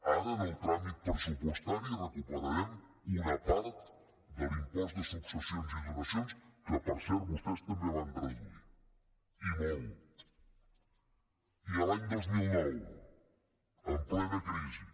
ara en el tràmit pressupostari recuperarem una part de l’impost de successions i donacions que per cert vostès també van reduir i molt i l’any dos mil nou en plena crisi